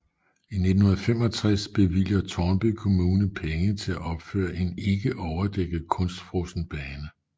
I 1965 bevilger Tårnby Kommune penge til at opføre en ikke overdækket kunstfrossen bane